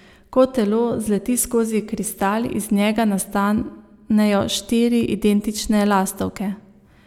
Ko telo zleti skozi kristal, iz njega nastanejo štiri identične lastovke.